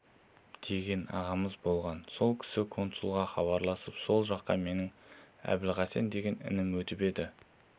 деген ағамыз болған сол кісі консулға хабарласып сол жаққа менің әбілхасен деген інім өтіп еді